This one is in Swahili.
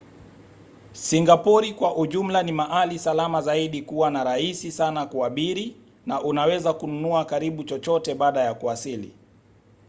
singapori kwa ujumla ni mahali salama zaidi kuwa na rahisi sana kuabiri na unaweza kununua karibu chochote baada ya kuwasili